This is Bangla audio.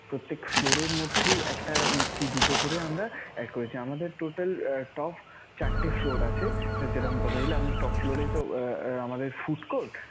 প্রত্যেক floor এর মধ্যেই একটা কি দুটো করে আমরা add করেছি. আমাদের total top চারটে floor আছে. যেরকম কথা ছিলো আমি~ top floor এ তো আমাদের food court